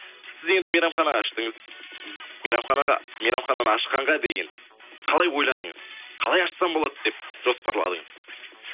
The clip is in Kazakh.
сіз енді мейрамхана аштыңыз мейрамханаға мейрамхананы ашқанға дейін қалай ойладыңыз қалай ашсам болады деп жоспарладыңыз